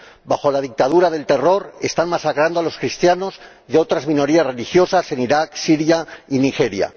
Bajo la dictadura del terror están masacrando a los cristianos y otras minorías religiosas en Irak, Siria y Nigeria.